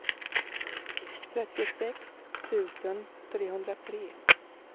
trettiosex tusen trehundratre